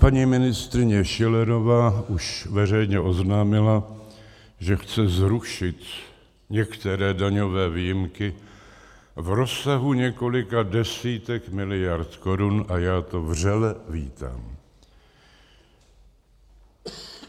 Paní ministryně Schillerová už veřejně oznámila, že chce zrušit některé daňové výjimky v rozsahu několika desítek miliard korun, a já to vřele vítám.